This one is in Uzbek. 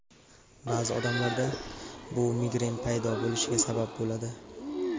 Ba’zi odamlarda bu migren paydo bo‘lishiga sabab bo‘ladi.